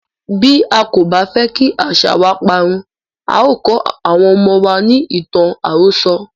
Bí a kò bá fẹ́ kí àṣàa wa parun, a o kó àwọn ọmọ wa ní ìtàn àròso.